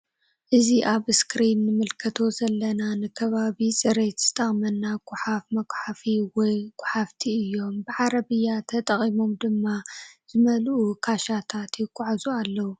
እዚ አብ እስክሪን እንምልከቶ ዘለና ንከባቢ ፅሪት ዝጠቅመና ጉሓፍ ሙጉሓፍ ወይ ጉሓፍቲ እዮም ብ ዓረብያ ተጠቂሞም ድማ ዝመልኡ ክሻታት የጋዕዙ አለዉ::